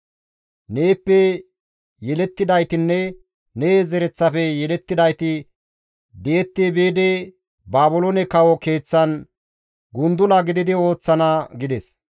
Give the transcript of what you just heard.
Neeppe yelettidaytinne ne zereththafe yelettidayti di7etti biidi Baabiloone kawo keeththan gundula gididi ooththana» gides.